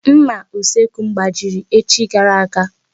Nmà usekwu m gbajiri echi gara aga.